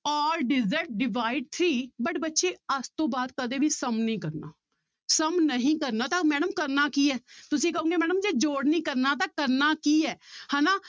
all digits divide three but ਬੱਚੇ ਅੱਜ ਤੋਂ ਬਾਅਦ ਕਦੇ ਵੀ sum ਨੀ ਕਰਨਾ sum ਨਹੀਂ ਕਰਨਾ ਤਾਂ madam ਕਰਨਾ ਕੀ ਹੈ ਤੁਸੀਂ ਕਹੋਗੇ madam ਜੇ ਜੋੜ ਨੀ ਕਰਨਾ ਤਾਂ ਕਰਨਾ ਕੀ ਹੈ ਹਨਾ